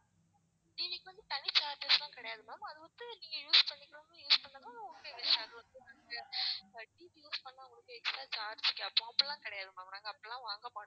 TV க்கு வந்து தனி charges எல்லாம் கிடையாது ma'am அது வந்து நீங்க use பண்ணிக்கிறவங்க use பண்ணலாம் உங்க TV use பண்ணா உங்களுக்கு extra charge கேப்போம் அப்படியெல்லாம் கிடையாது ma'am நாங்க அப்படியெல்லாம் வாங்க மாட்டோம்.